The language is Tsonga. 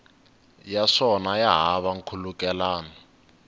ya swona ya hava nkhulukelano